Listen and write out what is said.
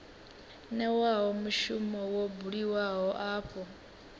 newaho mushumo wo buliwaho afho